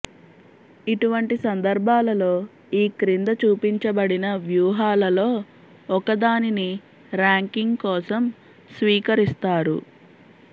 ఇటువంటి సందర్భాలలో ఈ క్రింద చూపించబడిన వ్యూహాలలో ఒకదానిని ర్యాంకింగ్ కోసం స్వీకరిస్తారు